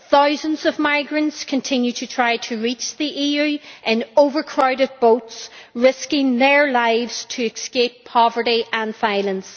Thousands of migrants continue to try to reach the EU in overcrowded boats, risking their lives to escape poverty and violence.